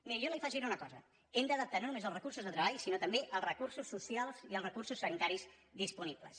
miri jo li afegiré una cosa hem d’adaptar no només els recursos de treball sinó també els recursos socials i els recursos sanitaris disponibles